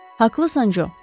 Haqlısan Jo.